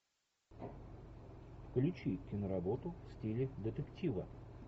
включи киноработу в стиле детектива